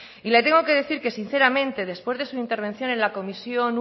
y le tengo que decir que sinceramente después de su intervención en la comisión